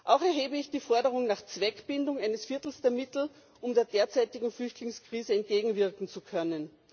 Auch erhebe ich die Forderung nach Zweckbindung eines Viertels der Mittel, um der derzeitigen Flüchtlingskrise entgegenwirken zu können.